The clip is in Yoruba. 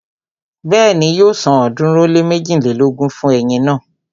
Bẹ́ẹ̀ni, yóò san ọ̀ọ́dúnrún ó lé méjilélógún fún eyin náà